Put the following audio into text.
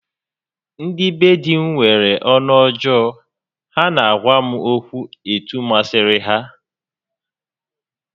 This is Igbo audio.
Ndị be di m nwere ọnụ ọjọọ, ha na-agwa m okwu etu masịrị ha